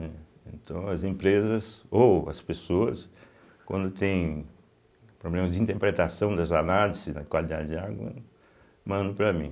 Então as empresas ou as pessoas, quando tem problemas de interpretação das análises da qualidade de água, mandam para mim.